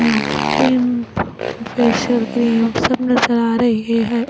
Facial cream सब नजर आ रही है।